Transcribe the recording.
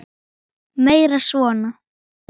Meira svona!